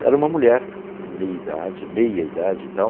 E era uma mulher, meia idade, meia idade e tal.